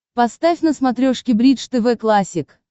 поставь на смотрешке бридж тв классик